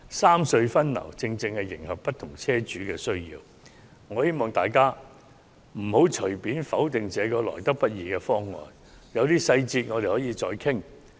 三隧分流方案正可迎合不同車主的需要，我希望大家不要隨便否決這個得來不易的方案，有些細節我們可以再作討論。